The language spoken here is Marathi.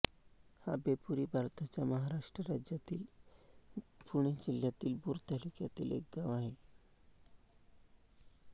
आभेपुरी हे भारताच्या महाराष्ट्र राज्यातील पुणे जिल्ह्यातील भोर तालुक्यातील एक गाव आहे